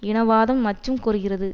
இனவாதம் மற்றும் கோருகிறது